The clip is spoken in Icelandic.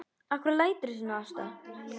Af hverju læturðu svona Ásta?